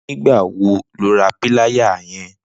Nigbà wò ló rà pìláyá yèn?